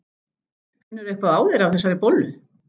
Finnurðu eitthvað á þér af þessari bollu?